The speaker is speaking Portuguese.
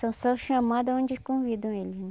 Só são chamadas onde convidam eles, né?